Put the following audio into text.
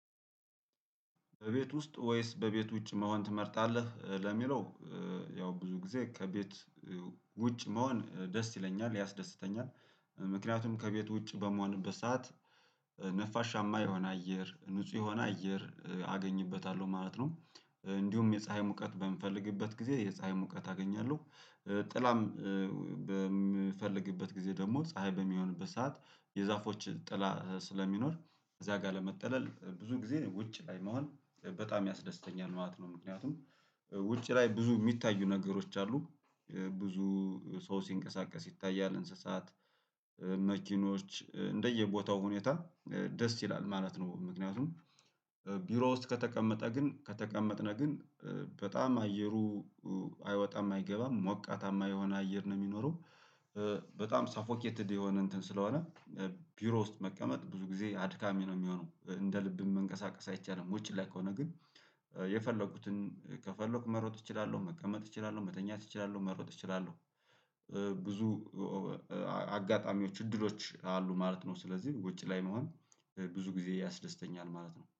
በቤት ውስጥ ወይስ በቤት ውጭ መሆን ትመርጣለህ ለሚለው? ያው ብዙ ጊዜ ከቤት ውጭ መሆን ደስ ይለኛል ያስደስተኛል። ምክንያቱም ከቤት ውጭ በመሆንበት ሰዓት ነፋሻማ የሆነ አየር ንጹህ የሆነ አየር አገኝበታለሁ ማለት ነው። እንዲሁም የፀሀይ ሙቀት በምፈልግበት ጊዜ የፀሀይ ሙቀት አገኛለሁ። ጥላም በምፈልግበት ጊዜ ደግሞ ፀሀይ በሚሆንበት ሰዓት የዛፎች ጥላ ስለሚኖር እዚያ ጋር ለመጠለል ብዙ ጊዜ ውጭ ላይ መሆን በጣም ያስደስተኛል ማለት ነው። ምክንያቱም ውጭ ላይ ብዙ የሚታዩ ነገሮች አሉ። ብዙ ሰው ሲንቀሳቀስ ይታያል እንስሳት መኪኖች እንደየቦታው ሁኔታ ደስ ይላል ማለት ነው። ምክንያቱም ቢሮ ውስጥ ከተቀመጠ ግን ከተቀመጥን ግን በጣም አየሩ አይወጣም አይገባም ሞቃታማ የሆነ አየር ነው የሚኖረው። በጣም ሳፎኬትድ የሆነ እንትን ስለሆነ ቢሮ ውስጥ መቀመጥ ብዙ ጊዜ አድካሚ ነው የሚሆነው እንደ ልብም መንቀሳቀስ አይቻልም። ውጪ ላይ ከሆነ ግን የፈለኩትን ከፈለኩ መሮጥ እችላለሁ መቀመጥ እችላለሁ መተኛት እችላለሁ መሮጥ እችላለሁ። ብዙ አጋጣሚዎች እድሎች አሉ ማለት ነው። ስለዚህ ውጭ ላይ መሆን ብዙ ጊዜ ያስደስተኛል ማለት ነው